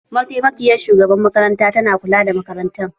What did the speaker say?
Mataimakiyar shugabar makaranta ta na kula da makarantar.